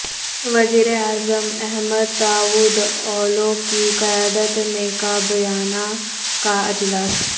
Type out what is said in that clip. وزیراعظم Ahmet Davutoglu کی قیادت میں کابینہ کا اجلاس